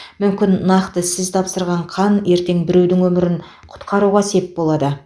мүмкін нақты сіз тапсырған қан ертең біреудің өмірін құтқаруға сеп болады